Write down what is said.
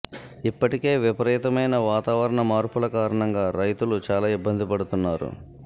ఇప్పటికే విపరీతమైన వాతావరణ మార్పుల కారణంగా రైతులు చాలా ఇబ్బంది పడుతున్నారు